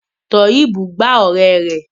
Toheeb gbá ọ̀rẹ́ rẹ̀